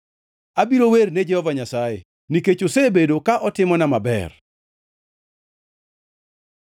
Abiro wer ne Jehova Nyasaye, nikech osebedo ka otimona maber.